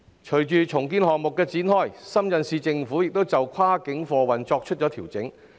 隨着重建項目展開，深圳市政府亦調整跨境貨運安排。